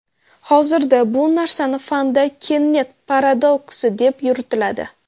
Hozirda bu narsani fanda Kennet paradoksi deb yuritiladi.